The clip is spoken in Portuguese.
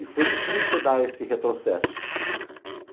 E foi difícil dar esse retrocesso.